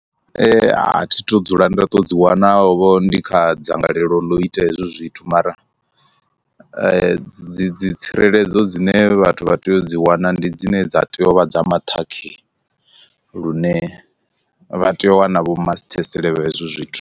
A thi tu dzula nda to dzi wana vho ndi kha dzangalelo ḽo ita hezwo zwithu, mara dzi dzi tsireledzo dzine vhathu vha tea u dzi wana ndi dzine dza tea u vha dza maṱhakheni lune vha tea u wana vho masithesele hezwo zwithu.